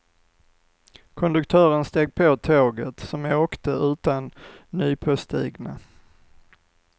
Konduktören steg på tåget, som åkte utan nypåstigna.